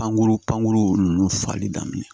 Pankuru pankuru ninnu fali daminɛ